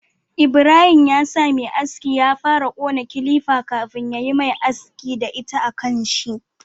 Ibrahim ya sa Me aski ya fara kona kilifa kafin yayi mai amfani da ita a kanshi